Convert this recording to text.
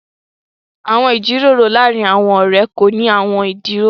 Àwọn ìjíròrò làárìn àwọn ọ̀rẹ̀ kò ní àwọn ìdíwọ̀n.